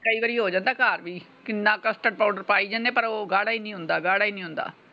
ਕਈ ਵਾਰੀ ਹੋ ਜਾਂਦਾ ਘਰ ਵੀ। ਕਿੰਨਾ custard ਪਾਉਡਰ ਪਾਈ ਜਾਣੇ ਪਰ ਉਹ ਗਾੜ੍ਹਾ ਹੀ ਨਹੀਂ ਹੁੰਦਾ ਗਾੜ੍ਹਾ ਹੀ ਨਹੀਂ ਹੁੰਦਾ।